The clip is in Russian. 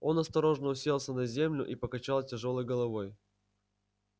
он осторожно уселся на землю и покачал тяжёлой головой